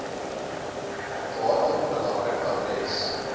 datum belangrik adres